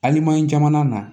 Alimanɲɛri jamana na